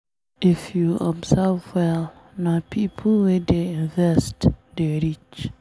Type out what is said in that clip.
If you observe well, na pipo wey dey invest dey rich.